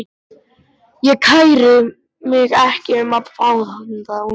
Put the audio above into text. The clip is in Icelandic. Ég kæri mig ekki um að fá þá núna.